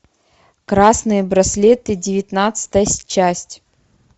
красные браслеты девятнадцатая часть